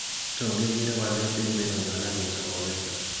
Tun kegeere waleet eng' kwenunyon ak eng' sobonwek kyok